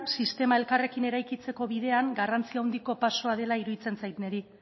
sistema elkarrekin eraikitzeko bidean garrantzia handiko pausua dela iruditzen zait niri